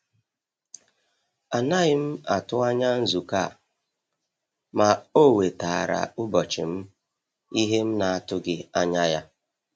A naghị m atụ anya nzukọ a, ma ọ wetaara ụbọchị m ìhè m na-atụghị anya ya.